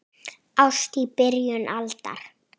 Ást í byrjun aldar